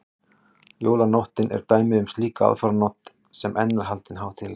jólanóttin er dæmi um slíka aðfaranótt sem enn er haldin hátíðleg